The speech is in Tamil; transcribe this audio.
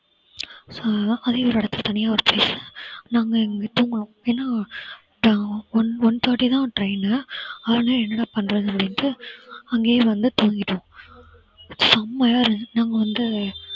அஹ் அதையும் ஒரு இடத்துல தனியா வச்சுட்டேன். நாங்க one forty தான் train அதனால என்னடா பண்றது அப்படின்டு அங்கேயே வந்து தூங்கிட்டோம். செம்மையா இருந்துச்சு. நாங்க வந்து